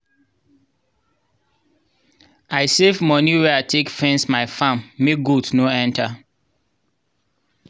i save moni wey i take fence my farm make goat no enter.